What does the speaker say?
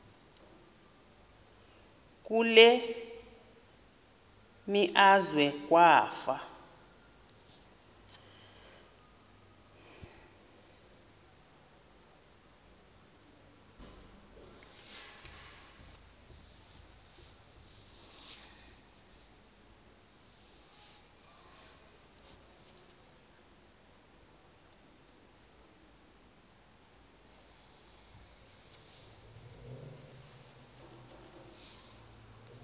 kule meazwe kwafa